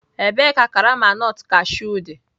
Ebee ka karama nut cashew dị?